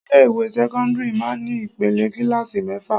Ilé ìwé sẹ́kọ́ńdírì máa ní ìpele kílààsì mẹ́fà.